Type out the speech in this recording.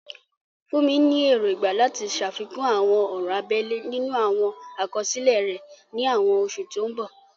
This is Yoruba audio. Funmi ní èrògbà láti ṣàfikún àwọn ọ̀rọ̀ abẹ́lẹ̀ nínú àwọn àkọsílẹ̀ rẹ̀ ní àwọn oṣù tó ń bọ̀.